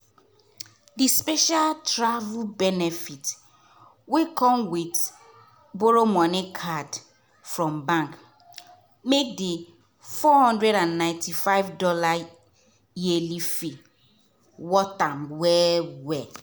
the special travel benefits wey come with borrow money card from bank make the $495 yearly fee worth am well-well.